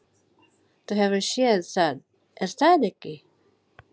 Þú hefur séð það er það ekki?